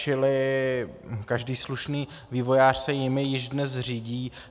Čili každý slušný vývojář se jimi již dnes řídí.